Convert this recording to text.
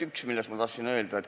Üks, millest ma tahtsin rääkida.